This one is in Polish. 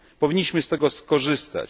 Powinniśmy z tego skorzystać.